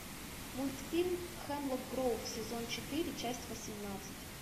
мультфильм хемлок гроув сезон четыре часть восемнадцать